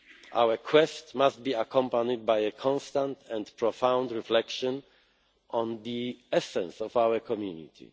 Our quest must be accompanied by a constant and profound reflection on the essence of our community.